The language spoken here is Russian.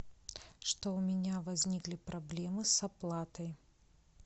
что у меня возникли проблемы с оплатой